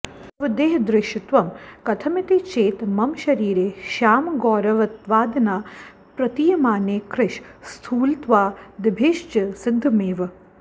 तव देहः दृश्यत्वं कथमिति चेत् मम शरीरे श्यामगौरवत्वादिना प्रतीयमाने कृश स्थूलत्वादिभिश्च सिद्धमेव